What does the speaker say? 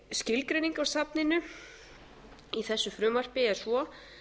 skilgreining á safninu í þessu frumvarpi er svo að